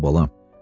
Al bala.